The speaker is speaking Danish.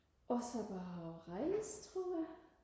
og så bare og rejse tror jeg